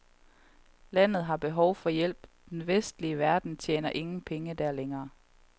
Landet har behov for hjælp, den vestlige verden tjener ingen penge der længere.